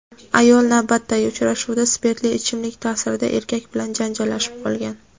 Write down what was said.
Ayol navbatdagi uchrashuvda spirtli ichimlik ta’sirida erkak bilan janjallashib qolgan.